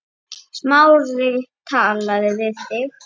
Smári talaði við þig?